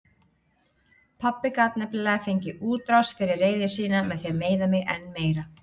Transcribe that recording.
Pabbi gat nefnilega fengið útrás fyrir reiði sína með því að meiða mig enn meira.